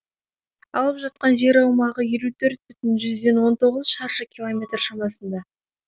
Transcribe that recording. алып жатқан жер аумағы елу төрт бүтін жүзден он тоғыз шаршы километр шамасында